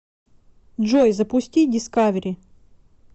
джой запусти дискавери